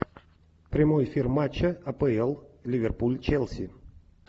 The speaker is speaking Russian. прямой эфир матча апл ливерпуль челси